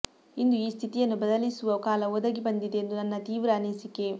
ಇಂದು ಈ ಸ್ಥಿತಿಯನ್ನು ಬದಲಿಸುವ ಕಾಲ ಒದಗಿ ಬಂದಿದೆ ಎಂದು ನನ್ನ ತೀವ್ರ ಅನಿಸಿಕೆ